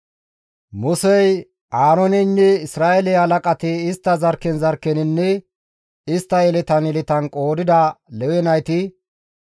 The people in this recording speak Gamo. Musey, Aarooneynne Isra7eele halaqati istta qommon qommoninne istta zarkken zarkken qoodida Lewe nayti,